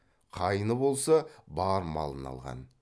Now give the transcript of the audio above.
қайны болса бар малын алған